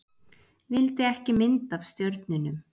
Vildi ekki mynd af stjörnunum